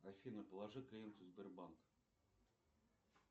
афина положи клиенту сбербанка